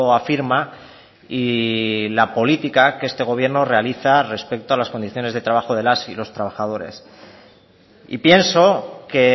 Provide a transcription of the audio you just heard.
afirma y la política que este gobierno realiza respecto a las condiciones de trabajo de las y los trabajadores y pienso que